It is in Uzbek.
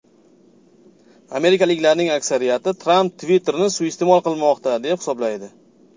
Amerikaliklarning aksariyati Tramp Twitter’ni suiiste’mol qilmoqda, deb hisoblaydi.